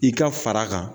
I ka fara kan